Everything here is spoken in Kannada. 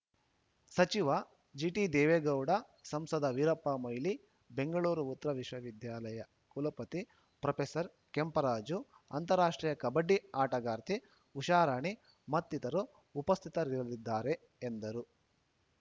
ಸಚಿವ ಜಿಟಿದೇವೇಗೌಡ ಸಂಸದ ವೀರಪ್ಪ ಮೊಯ್ಲಿ ಬೆಂಗಳೂರು ಉತ್ತರ ವಿವಿ ಕುಲಪತಿ ಪ್ರೊಫೆಸರ್ ಕೆಂಪರಾಜು ಅಂತಾರಾಷ್ಟ್ರೀಯ ಕಬಡ್ಡಿ ಆಟಗಾರ್ತಿ ಉಷಾರಾಣಿ ಮತ್ತಿತರರು ಉಪಸ್ಥಿತರಿರಲಿದ್ದಾರೆ ಎಂದರು